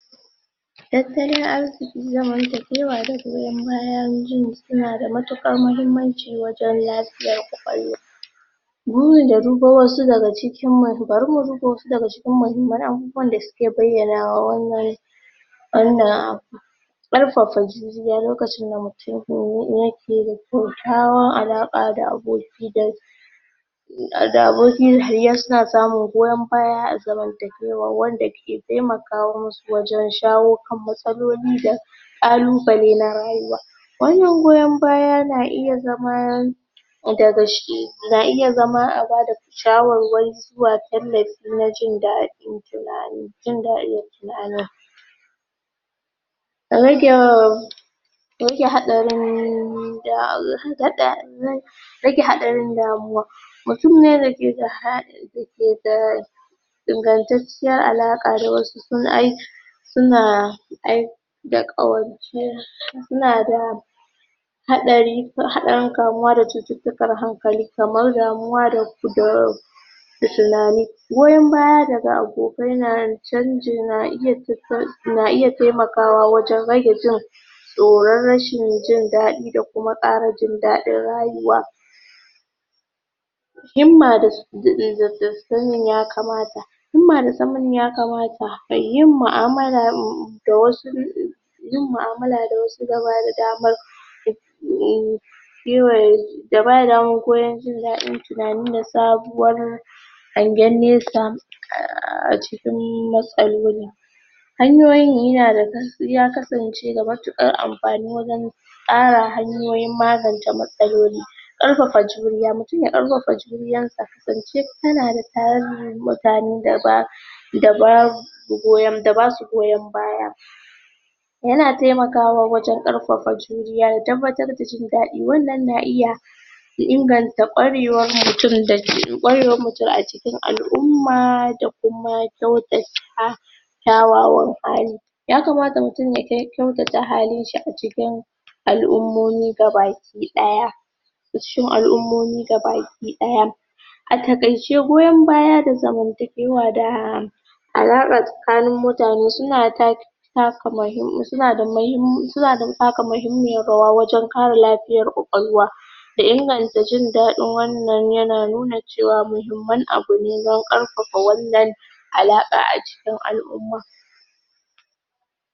Tattalin arziki, zamantakewa da goyan bayan juna suna da matuƙar mahimmanci wajan lafiyar kwakwalwa burin da dubo wasu daga cikin ma, bari mu duba wasu daga cikin mahimman abubawan da suke bayyana wannan wannan abu ƙarfafa juriya lokacin da mutum yake kyakykyawan alaƙa da aboki dai da aboki suna samun goyan baya a zamantakewa wanda ke taimaka wa musu wajan shawo kan matsaloli da ƙalubale na rayuwa wannan goyan baya na iya zama daga shi na iya zama a bada shawarwari zuwa tallafi na jin daɗi tunani jin daɗin rage rage haɗarin rage haɗarin damuwa mutun ne dake da hal dake da ingantacciyar alaƙa da wasu sun ai suna ai da ƙawance suna da haɗari, haɗarin kamauwa da cututtukan hankali kamar damuwa da da tunani goyan baya daga abokai na canji, na iya na iya taimakawa wajan rage jin tsoran rashin jin daɗi da kuma ƙara jin daɗin rayuwa himma da sanin yakamata himma da sanin yakamata, yin mu'amala um da wasu um yin mu'amala da wasu na bada damar um yiwa da bada damar koyan jin daɗin tunani da sabuwar hangen nesa um a cikin matsaloli hanyoyin yi yana gaskiya kasance ga matuƙar amfani wajan ƙara hanyoyin magance matsaloli ƙarfafa juriya, mutum ya ƙarfafa juriyar sa, zance kana da tarin mutane da ba da babu goyan da basu goyan baya yana taimakawa wajan ƙarfafa juriya, tabbatar da jin daɗi wannan na iya ya inganta ƙwarewar mutum ƙwarewar mutum a cikin al'umma da kuma kyautata kyawawan hali yakamata mutum ya kyautata halin shi a cikin al'umomi gabaki ɗaya cikin al'umomi gabaki ɗaya a taƙaice goyan baya da zamantakewa da tsakain mutane suna take taka mahi suna da mahim, suna taka mahimmiyar rawa wajan ƙare lafiyar kwakwalwa da inganta jin daɗin wannan yana nuna cewa mahimman abu ne dan ƙarfafa wannan alaƙa a cikin al'umma